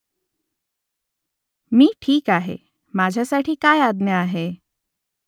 मी ठीक आहे . माझ्यासाठी काय आज्ञा आहे ?